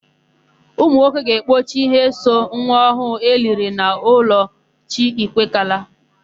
Ụmụnwoke ga-ekpochi íhé so nwa ọhụụ eliri n'ụlọ chi Igwekala.